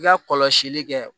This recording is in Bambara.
I ka kɔlɔsili kɛ